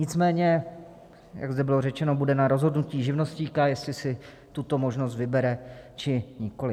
Nicméně jak zde bylo řečeno, bude na rozhodnutí živnostníka, jestli si tuto možnost vybere, či nikoliv.